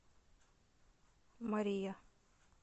мария